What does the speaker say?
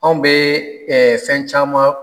Anw bɛ fɛn caman